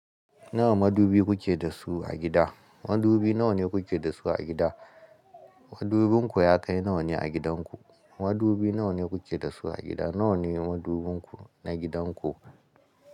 Nawa madubi kuke da su a gida? Madubi nawa ne kuke da su a gida? Madubinku ya kai nawa ne a gidanku? Madubi nawa ne kuke da su a gida? Nawa ne madubinku na gidan ku?